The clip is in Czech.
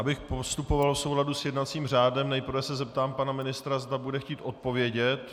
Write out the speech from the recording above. Abych postupoval v souladu s jednacím řádem, nejprve se zeptám pana ministra, zda bude chtít odpovědět.